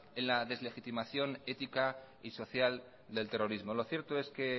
en la deslegitimación ética y social del terrorismo lo cierto es que